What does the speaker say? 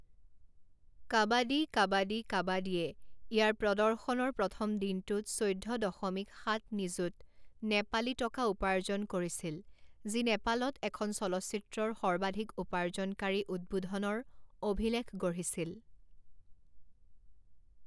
কাবাদী কাবাদী কাবাদীয়ে ইয়াৰ প্ৰদৰ্শনৰ প্ৰথম দিনটোত চৈধ্য দশমিক সাত নিযুত নেপালী টকা উপাৰ্জন কৰিছিল যি নেপালত এখন চলচ্চিত্ৰৰ সৰ্বাধিক উপাৰ্জনকাৰী উদ্বোধনৰ অভিলেখ গঢ়িছিল।